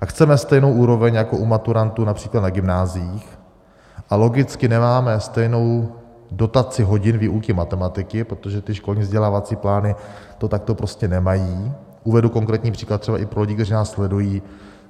a chceme stejnou úroveň jako u maturantů například na gymnáziích, a logicky nemáme stejnou dotaci hodin výuky matematiky, protože ty školní vzdělávací plány to takto prostě nemají - uvedu konkrétní příklad třeba i pro lidi, kteří nás sledují.